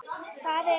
Hvað ef.?